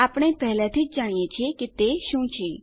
આપણે પહેલાથી જ જાણીએ છીએ કે તે શું છે